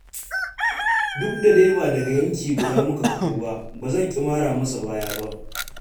Duk da dai ba daga yanki guda muka fito ba, ba zan ƙi mara masa baya ba.